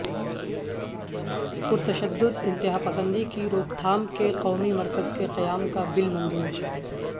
پرتشدد انتہا پسندی کی روک تھام کے قومی مرکز کے قیام کا بل منظور